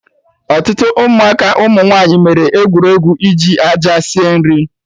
Ọtụtụ Ụmụaka ụmụ nwaanyị mere egwuregwu iji aja sie nri